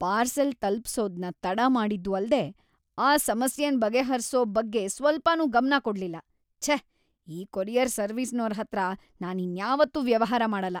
Parcel ತಲುಪ್ಸೋದ್ನ ತಡ ಮಾಡಿದ್ದೂ ಅಲ್ದೇ ಆ ಸಮಸ್ಯೆನ್‌ ಬಗೆಹರ್ಸೋ ಬಗ್ಗೆ ಸ್ವಲ್ಪನೂ ಗಮ್ನ ಕೊಡ್ಲಿಲ್ಲಲ.. ಛೇ, ಈ ಕೊರಿಯರ್‌ ಸರ್ವಿಸ್ನೋರ್ಹತ್ರ ನಾನಿನ್ಯಾವತ್ತೂ ವ್ಯವಹಾರ ಮಾಡಲ್ಲ.